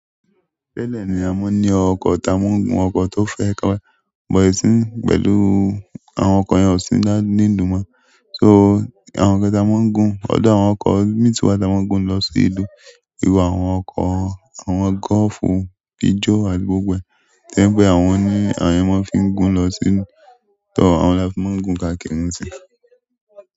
Tẹ́ẹ̀lẹ̀ ni a mo ń ní ọkọ̀ táa mọ́ ń gun ọkọ̀ tó fẹ́ ka bọ̀ isin pẹ̀lú àwọn ọkọ̀ yan osì ní ìlú máa, so àwọn ọkọ̀ táa mọ́ ń gun, ọ̀dọ̀ àwọn ọkọ̀ méjì tí wà táa mọ́ ń gun lọ sí ilé, ìru àwọn ọkọ̀, àwọn gọ́ọ̀fù, pijo àti gbogbo ẹ̀, to jẹ́ àwọn ni àyè wọn fi ń gun lọ sínú tọ àwọn lafi máa ń gun káàkiri sí.